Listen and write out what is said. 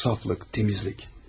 Saflık, təmizlik.